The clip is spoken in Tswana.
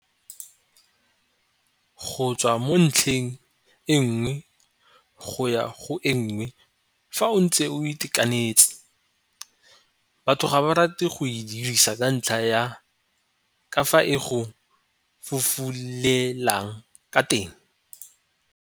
Go tswa mo ntlheng e nngwe go ya go e nngwe fa o ntse o itekanetse, batho ga ba rate go e dirisa ka ntlha ya ka fa e go fufulelang ka teng.